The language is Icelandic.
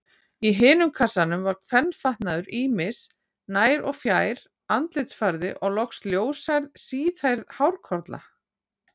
Í hinum kassanum var kvenfatnaður ýmis, nær- og fjær-, andlitsfarði og loks ljóshærð, síðhærð hárkolla.